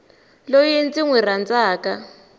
loyi ndzi n wi rhandzaka